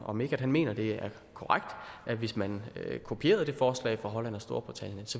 om ikke han mener at det er korrekt at hvis man kopierede det forslag fra holland og storbritannien